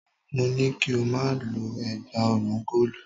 Mo ní kí o má lo ẹ̀gbá ọrùn góòlù.